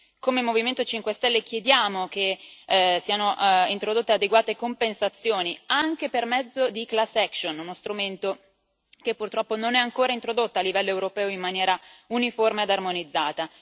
Come Movimento 5 Stelle chiediamo che siano introdotte adeguate compensazioni anche per mezzo di class action uno strumento che purtroppo non è ancora introdotto a livello europeo in maniera uniforme ed armonizzata.